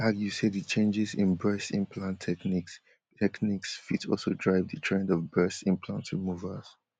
she argue say di changes in breast implant techniques techniques fit also drive di trend of breast implant removals